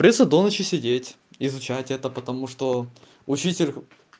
придётся до ночи сидеть изучать это потому что учитель